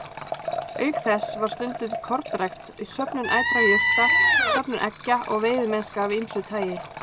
Auk þess var stunduð kornrækt, söfnun ætra jurta, söfnun eggja og veiðimennska af ýmsu tagi.